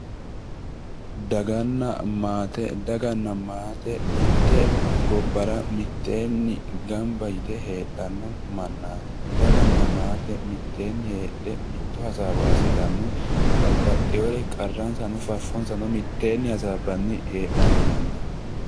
daganna Maate daganna maate mitte gobbara mitteenni gamba yite heedhanno mannaati daganna maate mitteenni heedhe mitto hasaawa assitanni babbaxinore qarransano faffonsa hasaabbanni heedhanno mannaati